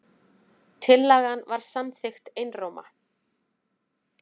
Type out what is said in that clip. Tillagan var samþykkt einróma.